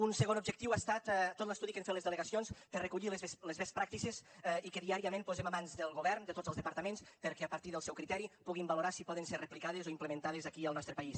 un segon objectiu ha estat tot l’estudi que han fet les delegacions per a recollir les best practices i que diàriament posem a mans del govern de tots els departaments perquè a partir del seu criteri puguin valorar si poden ser replicades o implementades aquí al nostre país